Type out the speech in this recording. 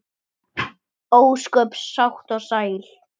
Ósköp sátt og sæl.